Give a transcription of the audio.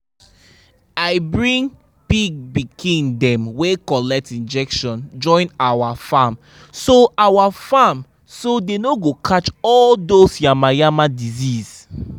i bring pig pikin dem wey collect injection join our farm so our farm so dey no go catch all dos yamayama disease.